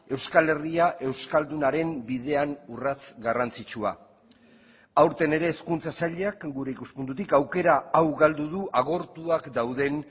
euskal herria euskaldunaren bidean urrats garrantzitsua aurten ere hezkuntza sailak gure ikuspuntutik aukera hau galdu du agortuak dauden